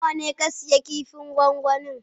Nawa ne ka sayi kifin gwangwanin?